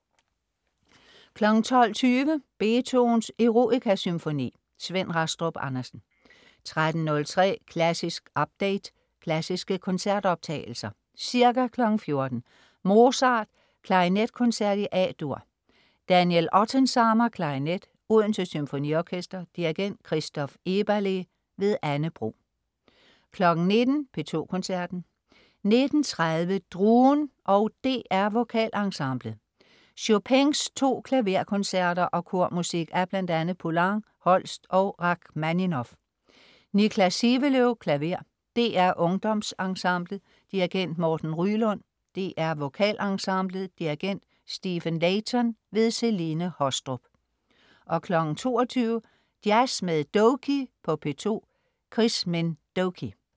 12.20 Beethovens Eroica-symfoni. Svend Rastrup Andersen 13.03 Klassisk update. Klassiske koncertoptagelser. Ca. 14.00 Mozart: Klarinetkoncert, A-dur . Daniel Ottensamer, klarinet. Odense Symfoniorkester. Dirigent: Christoph Eberle. Anne Bro 19.00 P2 Koncerten. 19.30 DRUEN og DR VokalEnsemblet. Chopins to klaverkoncerter og kormusik af bl.a. Poulenc, Holst og Rakhmaninov. Niklas Sivelöv, klaver. DR UngdomsEnsemblet. Dirigent: Morten Ryelund. DR VokalEnsemblet. Dirigent: Stephen Layton. Celine Haastrup 22.00 Jazz med Doky på P2. Chris Minh Doky